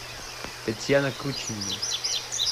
татьяна кручинина